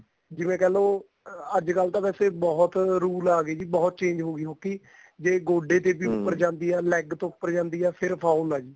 ਜਿਵੇਂ ਕਹਿ ਲੋ ਅੱਜਕਲ ਤਾਂ ਵੈਸੇ ਬਹੁਤ rule ਆ ਗਏ ਜੀ ਬਹੁਤ change ਹੋ ਗਈ hockey ਜੇ ਗੋਡੇ ਦੇ ਵੀ ਉੱਪਰਜਾਂਦੀ ਏ ਜਾਨ leg ਤੋਂ ਉਪਰ ਜਾਂਦੀ ਏ ਫੇਰ foul ਏ ਜੀ